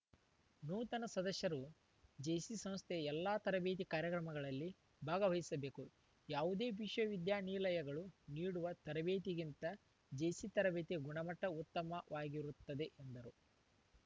ನೂತನ ಸದಸ್ಯರು ಜೇಸಿ ಸಂಸ್ಥೆಯ ಎಲ್ಲ ತರಬೇತಿ ಕಾರ್ಯಕ್ರಮಗಳಲ್ಲಿ ಭಾಗವಹಿಸಬೇಕು ಯಾವುದೇ ವಿಶ್ವವಿಶ್ವವಿದ್ಯಾನಿಲಯಗಳು ನೀಡುವ ತರಬೇತಿಗಿಂದ ಜೇಸಿ ತರಬೇತಿ ಗುಣಮಟ್ಟಉತ್ತಮವಾಗಿರುತ್ತದೆ